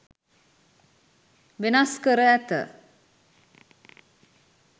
වෙනස් කර ඇත